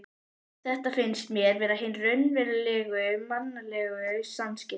Þetta finnst mér vera hin raunverulegu mannlegu samskipti.